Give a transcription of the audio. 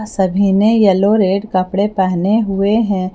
सभी ने yellow red कपड़े पहने हुए हैं।